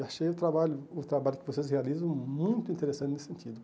E achei o trabalho o trabalho que vocês realizam muito interessante nesse sentido.